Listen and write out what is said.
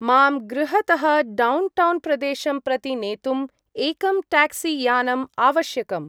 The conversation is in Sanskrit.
मां गृहतः डौण्टौन्‌-प्रदेशं प्रति नेतुं एकं ट्यक्सी-यानम् आवश्यकम्।